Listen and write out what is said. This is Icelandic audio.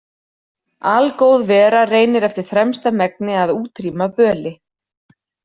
Algóð vera reynir eftir fremsta megni að útrýma böli.